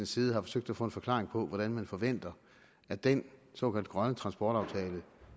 side har forsøgt at få en forklaring på hvordan man forventer at den såkaldt grønne transportaftale